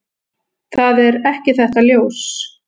Það er ekki þetta ljós.